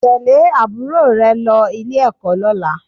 Tẹ̀lé àbúrò rẹ lọ Ilé-ẹ̀kọ́ lọ́la